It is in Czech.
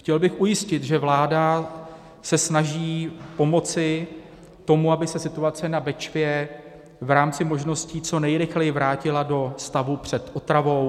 Chtěl bych ujistit, že vláda se snaží pomoci tomu, aby se situace na Bečvě v rámci možností co nejrychleji vrátila do stavu před otravou.